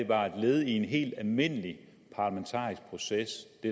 var et led i en helt almindelig parlamentarisk proces